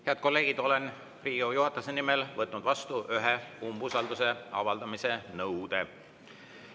Head kolleegid, olen Riigikogu juhatuse nimel võtnud vastu ühe umbusalduse avaldamise nõude.